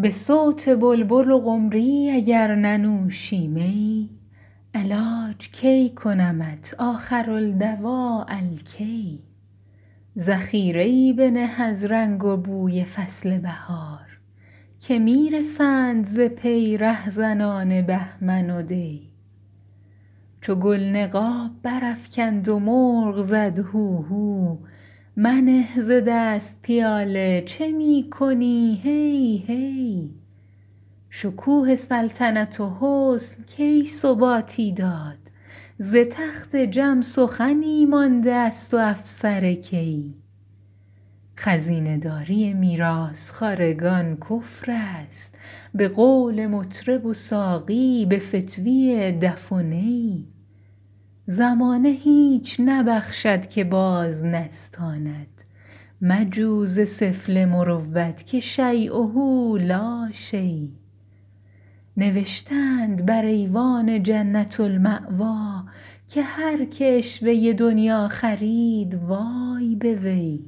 به صوت بلبل و قمری اگر ننوشی می علاج کی کنمت آخرالدواء الکی ذخیره ای بنه از رنگ و بوی فصل بهار که می رسند ز پی رهزنان بهمن و دی چو گل نقاب برافکند و مرغ زد هوهو منه ز دست پیاله چه می کنی هی هی شکوه سلطنت و حسن کی ثباتی داد ز تخت جم سخنی مانده است و افسر کی خزینه داری میراث خوارگان کفر است به قول مطرب و ساقی به فتویٰ دف و نی زمانه هیچ نبخشد که باز نستاند مجو ز سفله مروت که شییه لا شی نوشته اند بر ایوان جنة الماویٰ که هر که عشوه دنییٰ خرید وای به وی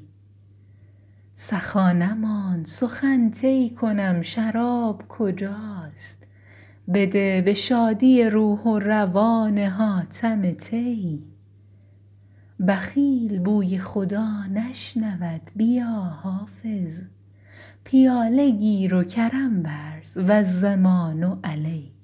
سخا نماند سخن طی کنم شراب کجاست بده به شادی روح و روان حاتم طی بخیل بوی خدا نشنود بیا حافظ پیاله گیر و کرم ورز و الضمان علی